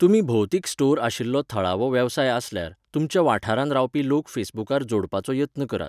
तुमी भौतिक स्टोर आशिल्लो थळावो वेवसाय आसल्यार, तुमच्या वाठारांत रावपी लोक फेसबूकार 'जोडपाचो' यत्न करात.